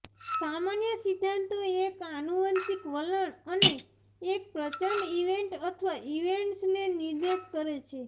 સામાન્ય સિદ્ધાંતો એક આનુવંશિક વલણ અને એક પ્રચંડ ઇવેન્ટ અથવા ઇવેન્ટ્સને નિર્દેશ કરે છે